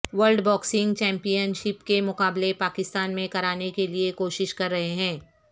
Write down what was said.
world boxing championship کے مقابلے پاکستان میں کرانے کیلئے کوشش کررہے ہیں